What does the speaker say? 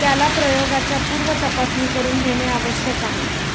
त्याला प्रयोगाच्या पूर्वी तपासणी करून घेणे आवश्यक आहे.